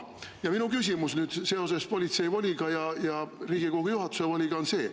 Aga minu küsimus seoses politsei voliga ja Riigikogu juhatuse voliga on see.